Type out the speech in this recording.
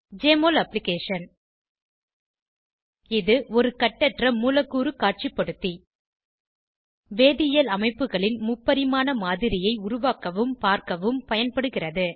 JMOL application இது ஒரு கட்டற்ற மூலக்கூறு காட்சிபடுத்தி வேதியியல் அமைப்புகளின் முப்பரிமாண மாதிரியை உருவாக்கவும் பார்க்கவும் பயன்படுகிறது